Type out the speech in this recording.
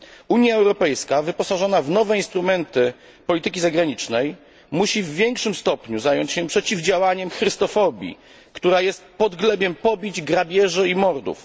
Unia Europejska wyposażona w nowe instrumenty polityki zagranicznej musi w większym stopniu zająć się przeciwdziałaniem chrystofobii, która jest podglebiem pobić, grabieży i mordów.